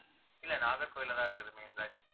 இல்லை நாகர்கோயில்ல தான் இருக்குது main branch